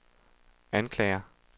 anklager